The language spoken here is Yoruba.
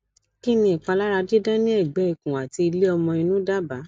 kini ipalara didan ni egbe ikun ati ile omo inu daba